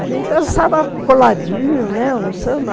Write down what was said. A gente dançava coladinho, né, o samba.